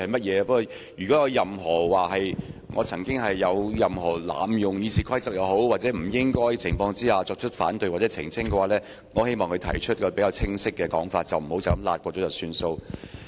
如果她認為我曾經濫用《議事規則》或在不恰當的情況下提出反對或澄清，我希望她說得清晰一點，不要輕輕帶過便算。